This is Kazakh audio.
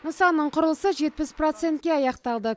нысанның құрылысы жетпіс процентке аяқталды